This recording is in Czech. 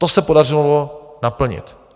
To se podařilo naplnit.